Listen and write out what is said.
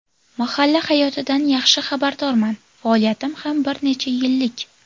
Mahalla hayotidan yaxshi xabardorman, faoliyatim ham bir necha yillik.